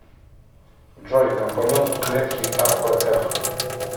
джой компонент клетки апф